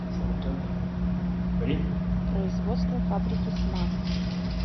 производство фабрики смак